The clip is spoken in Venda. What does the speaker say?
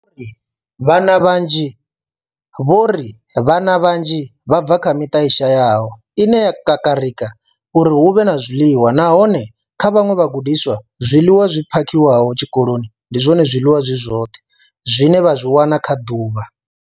Vho ri vhana vhanzhi vha bva kha miṱa i shayaho ine ya kakarika uri hu vhe na zwiḽiwa, nahone kha vhaṅwe vhagudiswa, zwiḽiwa zwi phakhiwaho tshikoloni ndi zwone zwiḽiwa zwi zwoṱhe zwine vha zwi wana kha ḓuvha.